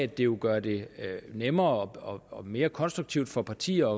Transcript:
det vil gøre det nemmere og mere konstruktivt for partierne